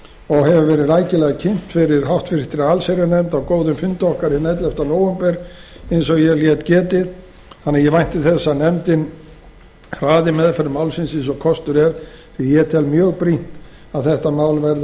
og verið rækilega kynnt fyrir háttvirta allsherjarnefnd á góðum fundi okkar hinn ellefta nóvember eins og ég lét getið ég vænti þess að nefndin hraði meðferð málsins eins og kostur er því að ég tel mjög brýnt að þetta frumvarp verði að